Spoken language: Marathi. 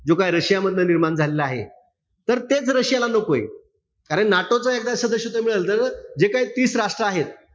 जो काही रशिया मधनं निर्माण झालेला आहे. तर तेच रशिया ला नकोय. कारण NATO च एकदा सदस्यत्व मिळालं तर जे काई तीस राष्ट्र आहेत,